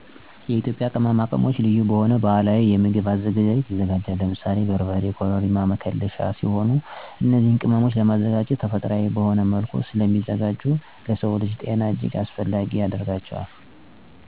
የኢትዮጵያ ቅመማ ቅመሞች ልዩ በሆኑ ባህላዊ የምግብ አዘገጃጀት ሂደት ይዘጋጃል። የኢትዮጵያ ምግቦች እንደ በርበሬ፣ ኮረሪማ፣ መከለሻ፣ ቅቤ ሽሮ (የዱቄት እና ቅመም ድብልቅ)፣ ጥቁር አዝሙድ፣ እና ክሎቭስ፣ ቁንዶ በርበሬ ያሉ ቅመሞችን ይጠቀሳሉ። እነዚን ቅመሞች ለማዘጋጀት ባህላዊ መንገድ ማለትም ተፈጥሮአዊ የሆኑ እና ጤናን የሚጎዱ ንጥረ ነገሮችን ባለመጠቀሙ ተመራጭ ያደርጋቸዋል። እነዚህ በተለያዩ ምግቦች ውስጥ ለ ምግብ ማጣፈጫነት፣ እንደ መከለሻ እና ለሌሎች ጥቅሞችም ይውላሉ።